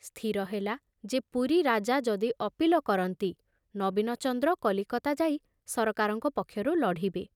ସ୍ଥିର ହେଲା ଯେ ପୁରୀ ରାଜା ଯଦି ଅପୀଲ କରନ୍ତି ନବୀନଚନ୍ଦ୍ର କଲିକତା ଯାଇ ସରକାରଙ୍କ ପକ୍ଷରୁ ଲଢ଼ିବେ।